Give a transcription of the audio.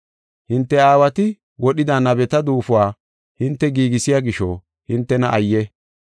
“Hinte aawati wodhida nabeta duufuwa hinte giigisiya gisho, hintena ayye!